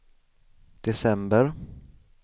december